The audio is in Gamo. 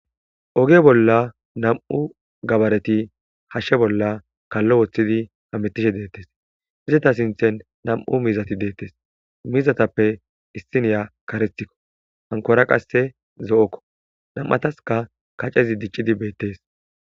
Oge bolla nam7u gabareti hashshe bolla kallo woththidi hamettishe deettes izeta sinthen nam7u mizati deettes mizatappe issiniya karetikko hankora qasse zo7okko nam7ataska kacezi diccidi beettees.